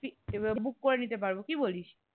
এইবার book করে নিতে পারব কি বলিস?